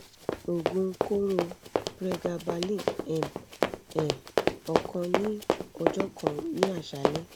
oogun koro pregabalin m um ọ̀kan ni ọjọ́ kan ni aṣalẹ́